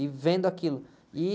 E vendo aquilo. E...